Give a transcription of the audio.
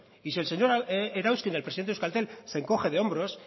y si el señor erauzkin el presidente de euskaltel se encoge de hombros